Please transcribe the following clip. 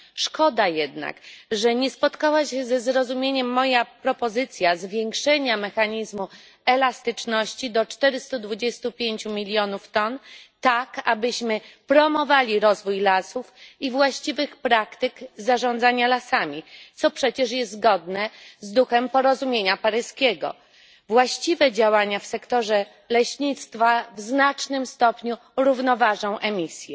Szkoda jednak, że nie spotkała się ze zrozumieniem moja propozycja zwiększenia mechanizmu elastyczności do 425 milionów ton tak, abyśmy promowali rozwój lasów i właściwych praktyk zarządzania lasami, co przecież jest zgodne z duchem porozumienia paryskiego. Właściwe działania w sektorze leśnictwa w znacznym stopniu równoważą emisje.